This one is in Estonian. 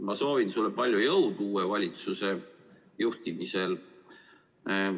Ma soovin sulle palju jõudu uue valitsuse juhtimisel!